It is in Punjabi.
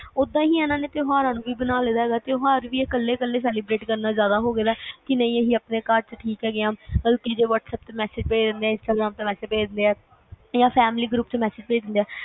ਤੇ ਓਦਾਂ ਹੀ ਏਨਾ ਨੇ ਤਿਓਹਾਰਾਂ ਦਾ ਬਣਾਤਾ ਆ ਕਿ ਕੱਲੇ ਕੱਲੇ celebrate ਕਰਨਾ ਜ਼ਿਆਦਾ ਹੋ ਗਿਆ ਦਾ, ਕਿ ਅਸੀਂ ਆਪਣੇ ਘਰ ਵਿਚ ਈ ਠੀਕ ਆ ਬਸ whatsapp ਤੇ instagram ਤੇ message ਭੇਜ ਦਿੰਦੇ ਆ ਯਾ family group ਚ message ਭੇਜ ਦਿੰਦੇ ਆ